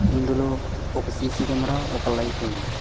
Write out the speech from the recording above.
ఇందులో ఒక CC camera ఒక లైట్ ఉంది.